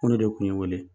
Mun de kun ye n wele